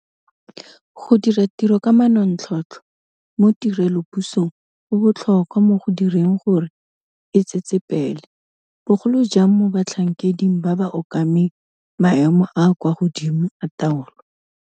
Go dira tiro ka manontlhotlho mo tirelopusong go botlhokwa mo go direng gore e tsetsepele, bogolo jang mo batlhankeding ba ba okameng maemo a a kwa godimo a taolo.